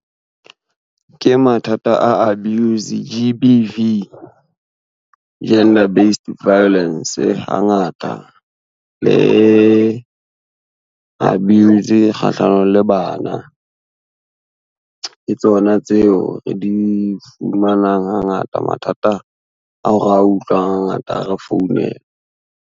Ke mathata a abuse G_B_V, Gender Based Violence hangata le abuse kgahlano le bana. Ke tsona tseo re di fumanang hangata mathata ao re a utlwang hangata ha re founelwa.